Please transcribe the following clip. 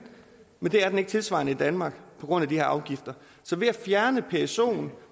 men det er den ikke tilsvarende i danmark på grund af de her afgifter så ved at fjerne psoen